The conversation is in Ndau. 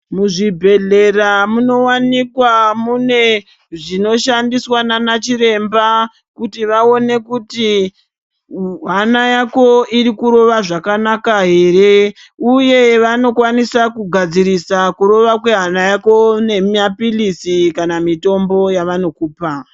Muzvibhedlera munowanikwa mune zvinoshandiswa nanachiremba kuti vaone kuti hana yako iri kurova zvakanaka here, uye vanokwanise kugadzirisa kurova kwehana yako nemaphilizi kana mitombo yavanokupa.